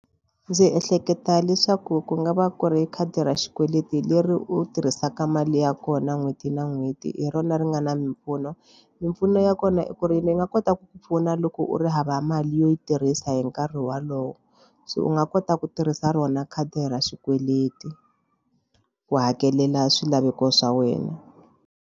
Ndzi ehleketa leswaku ku nga va ku ri khadi ra xikweleti leri u tirhisaka mali ya kona n'hweti na n'hweti hi rona ri nga na mimpfuno. Mimpfuno ya kona i ku ri ri nga kota ku ku pfuna loko u ri hava mali yo yi tirhisa hi nkarhi walowo se u nga kota ku tirhisa rona khadi ra xikweleti ku hakelela swilaveko swa wena.